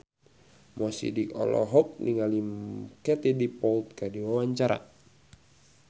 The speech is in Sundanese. Mo Sidik olohok ningali Katie Dippold keur diwawancara